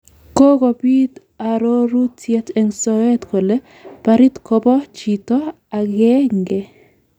Kokopit arorutiet en soet kole barit kopo chito akegenge